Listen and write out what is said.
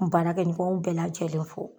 N baara kɛɲɔgɔnw bɛɛ lajɛlen fo.